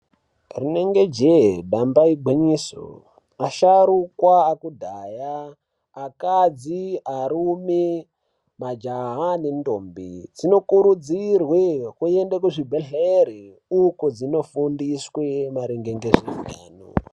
Rinenge jee . damba igwinyiso . Vasharukwa ekudhaya , akadzi , arume, majaha ne ntombi dzinokurudzirwe kuende kuzvibhedhlera uko dzinofundiswa maererano ngezveupenyu.